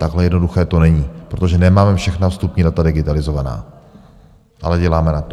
Takhle jednoduché to není, protože nemáme všechna vstupní data digitalizovaná, ale děláme na tom.